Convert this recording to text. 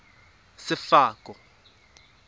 sefako